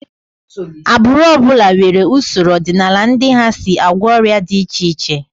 Agbụrụ ọ bụla nwere usoro ọdịnala ndị ha si agwọ ọrịa dị iche iche